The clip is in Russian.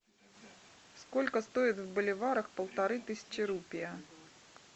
сколько стоит в боливарах полторы тысячи рупий